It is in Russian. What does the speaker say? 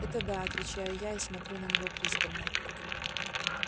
это да отвечаю я и смотрю на него пристально